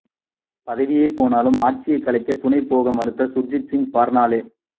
பதவியே போனாலும் ஆட்சியைக் கலைக்க துணை போக மறுத்த சுர்ஜித் சிங் பர்னாலா